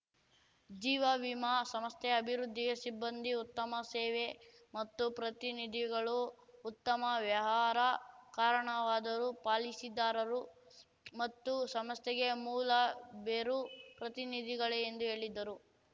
ಜೀವವಿಮಾ ಸಂಸ್ಥೆಯ ಅಭಿವೃದ್ಧಿಗೆ ಸಿಬ್ಬಂದಿ ಉತ್ತಮ ಸೇವೆ ಮತ್ತು ಪ್ರತಿನಿಧಿಗಳು ಉತ್ತಮ ವ್ಯವಹಾರ ಕಾರಣವಾದರೂ ಪಾಲಿಸಿದಾರರು ಮತ್ತು ಸಂಸ್ಥೆಗೆ ಮೂಲಬೇರು ಪ್ರತಿನಿಧಿಗಳೇ ಎಂದು ಹೇಳಿದ್ದರು